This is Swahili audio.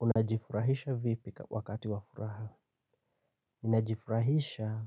Unajifurahisha vipi wakati wafuraha? Ninajifurahisha